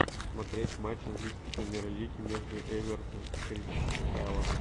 смотреть матч английской премьер лиги между эвертон кристал пэлас